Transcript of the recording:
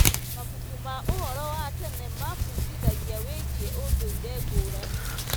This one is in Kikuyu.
Mabuku ma ũhoro wa tene mabundithagia wĩgiĩ ũndũire ngũrani.